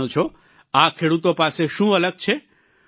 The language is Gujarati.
જાણો છો આ ખેડૂતો પાસે શું અલગ છે